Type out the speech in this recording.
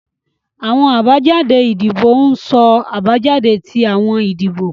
Awọn abajade idibo ń so abajade ti awọn idibo